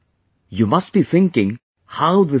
You must be thinking how this is possible